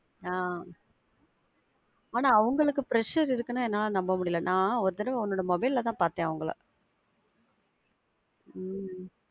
ஆஹ் ஆனா அவங்களுக்கு pressure இருக்குனா என்னால நம்பவே முடில. நான் ஒரு தடவ உன்னோட mobile ல தான் பாத்தேன் அவங்கள, உம்